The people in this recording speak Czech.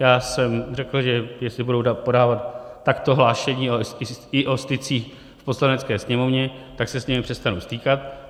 Já jsem řekl, že jestli budou podávat takto hlášení i o stycích v Poslanecké sněmovně, tak se s nimi přestanu stýkat.